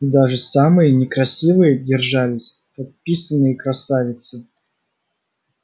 даже самые некрасивые держались как писаные красавицы